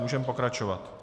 Můžeme pokračovat.